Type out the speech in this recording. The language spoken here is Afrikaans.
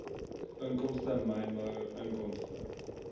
inkomste mynbou inkomste